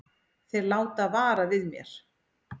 Þeir láta vara við mér.